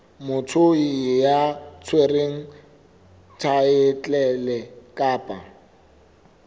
motho ya tshwereng thaetlele kapa